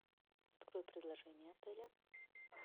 открой предложения отеля